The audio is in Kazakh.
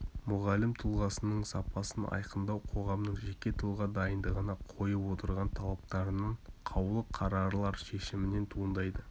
мұғалім тұлғасының сапасын айқындау қоғамның жеке тұлға дайындығына қойып отырған талаптарынан қаулы-қарарлар шешімінен туындайды